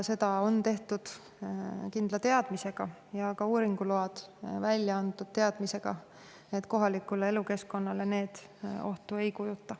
Seda on tehtud kindla teadmisega ja ka uuringuload on välja antud teadmisega, et kohalikule elukeskkonnale need ohtu ei kujuta.